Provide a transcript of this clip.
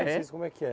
Vocês, como é que é?